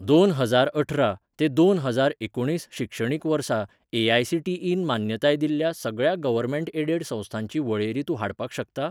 दोन हजार अठरा ते दोन हजार एकुणीस शिक्षणीक वर्सा ए.आय.सी.टी.ई न मान्यताय दिल्ल्या सगळ्या गव्हर्मेंट एडेड संस्थांची वळेरी तूं हाडपाक शकता?